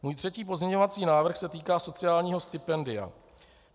Můj třetí pozměňovací návrh se týká sociálního stipendia.